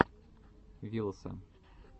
вилса